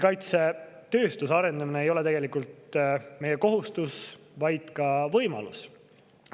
Kaitsetööstuse arendamine ei ole tegelikult meie kohustus, vaid ka võimalus.